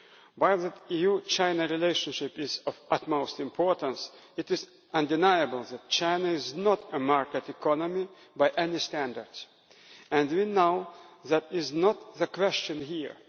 While the EU China relationship is of the utmost importance, it is undeniable that China is not a market economy by any standards. We know that is not the question here.